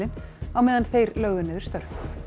á meðan þeir lögðu niður störf